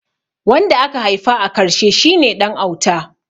Wanda aka haifa a karshe shi ne ɗan auta